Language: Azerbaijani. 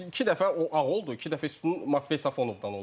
İki dəfə o ağıl oldu, iki dəfə üstün Matvey Safonovdan olar.